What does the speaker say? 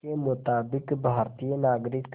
के मुताबिक़ भारतीय नागरिक